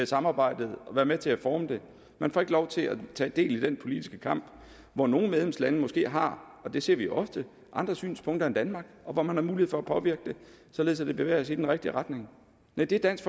samarbejdet og være med til at forme det man får ikke lov til at tage del i den politiske kamp hvor nogle medlemslande måske har og det ser vi ofte andre synspunkter end danmark og hvor man har mulighed for at påvirke det således at vi bevæger os i den rigtige retning nej det dansk